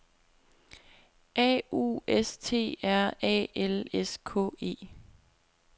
A U S T R A L S K E